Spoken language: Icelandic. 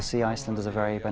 sé eitthvað